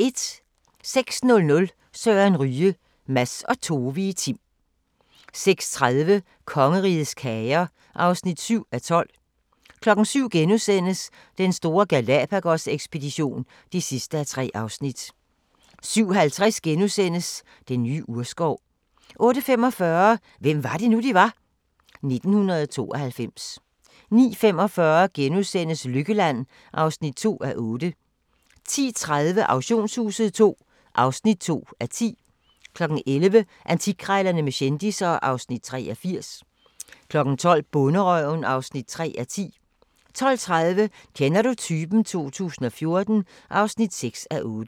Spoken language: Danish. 06:00: Søren Ryge – Mads og Tove i Tim 06:30: Kongerigets kager (7:12) 07:00: Den store Galápagos-ekspedition (3:3)* 07:50: Den nye urskov * 08:45: Hvem var det nu, vi var? - 1992 09:45: Lykkeland (2:8)* 10:30: Auktionshuset II (2:10) 11:00: Antikkrejlerne med kendisser (Afs. 83) 12:00: Bonderøven (3:10) 12:30: Kender du typen? 2014 (6:8)